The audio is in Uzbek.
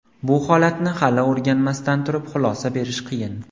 Bu holatni hali o‘rganmasdan turib, xulosa berish qiyin.